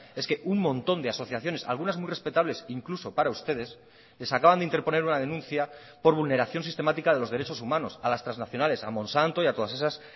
es que un montón de asociaciones algunas muy respetables incluso para ustedes les acaban de interponer una denuncia por vulneración sistemática de los derechos humanos a las trasnacionales a monsanto y a todas esas